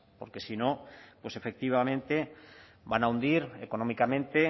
porque si no pues efectivamente van a hundir económicamente